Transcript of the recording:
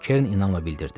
Kerin inanla bildirdi.